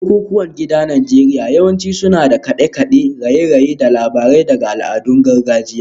Bukukuwan gida a Najeriya yawanci suna da kade-kade, raye-raye, da labarai daga al'adun gargajiya